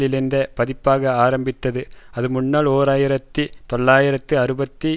இணைந்த பதிப்பாக ஆரம்பித்தது அது முன்னாள் ஓர் ஆயிரத்தி தொள்ளாயிரத்து அறுபத்தி